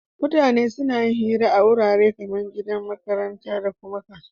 Mutane suna yin hira a warare kaman gida, makaranta dakuma kasuwa